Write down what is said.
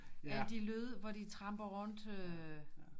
Alle de lyde hvor de tramper rundt